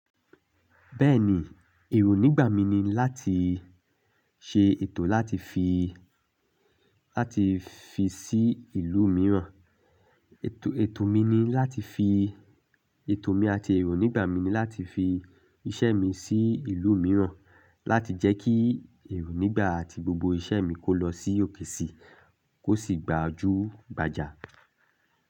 Bẹ́ẹ̀ni, èrò nígbà mi ni láti ṣe ètò láti fi, láti fi sí ìlú mìíràn. Ètò mi ni láti fi, ètò mi àti èrò nígbà mi ni láti fi iṣẹ́ mi sí ìlú mìíràn, láti jẹ́ kí èrò nígbà àti gbogbo iṣẹ́ mi kó lọ sí òkè sí, kó sì gbà á ju gbàjà.